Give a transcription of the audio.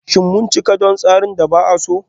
Shin mun cika don tseren da ba a so?